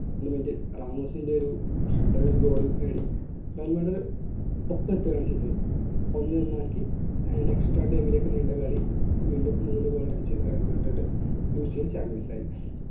minute ൽ റാമോസിന്റെ ഒരു ഹഡറൽ goal നേടി റൺമടല് ഒന്നേ ഒന്നാക്കി extra time ലേക്ക് നീണ്ട കളി വീണ്ടും നൂലുപോലെ അടിച്ച് ഇട്ടിട്ട് UCLchampions ആയി